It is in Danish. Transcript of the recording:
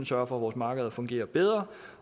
sørger for at vores markeder fungerer bedre